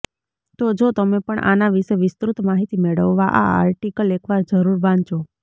તો જો તમે પણ આના વિશે વિસ્તૃત માહિતી મેળવવા આ આર્ટીકલ એકવાર જરૂર વાંચો